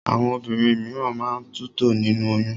Àwọn obìnrin míràn máa ń tutọ́ nínú oyún.